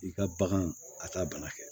I ka baganw a ka bana kɛ